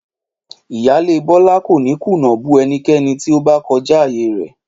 Ìyáálé Bólá kò ní kùnà bú enikéni tí ó bá ko̩já àyè rè̩